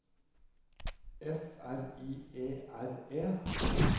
F R I E R E